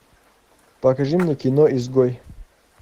покажи мне кино изгой